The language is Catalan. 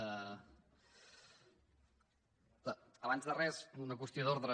abans de res una qüestió d’ordre